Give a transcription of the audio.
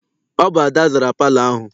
Ọ bụ Ada zara palọ ahụ.